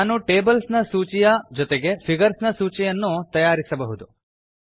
ನಾನು ಟೇಬಲ್ಸ್ ನ ಸೂಚಿಯ ಜೊತೆಗೆ ಫಿಗರ್ಸ್ ನ ಸೂಚಿಯನ್ನೂ ನ್ನೂ ತಯಾರಿಸಬಹುದು